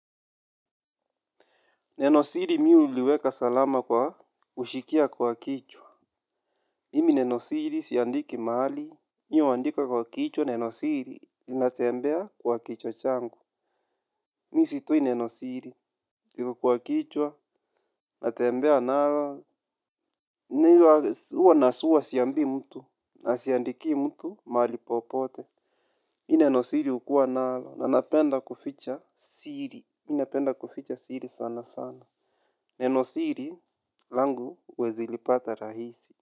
Neno siri mi uliweka salama kwa ushikia kwa kichwa. Imi neno siri siandiki mahali. Mimi andika kwa kichwa, neno siri. Inatembea kwa kichwa changu. Mi sitoi neno siri. Kwa kichwa, natembea nalo. Mi huwa nasuwa siambii mtu. Asiandikii mtu, mahali popote. Neno siri hukuwa nalo. Nanapenda kuficha siri. Inapenda kuficha siri sana sana. Neno siri. Langu huwezi lipata rahisi.